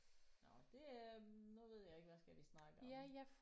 Nåh det øh nu ved jeg ikke hvad skal vi snakke om